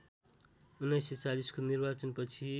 १९४० को निर्वाचन पछि